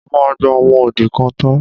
Mo máa gba ọmọ odi kan tọ́.